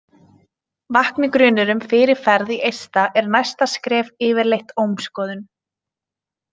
Vakni grunur um fyrirferð í eista er næsta skref yfirleitt ómskoðun.